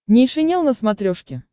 нейшенел на смотрешке